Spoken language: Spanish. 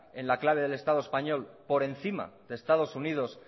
en la clave del estado español por encima de estado unidos